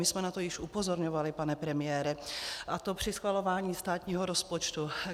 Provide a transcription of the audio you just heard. My jsme na to již upozorňovali, pane premiére, a to při schvalování státního rozpočtu.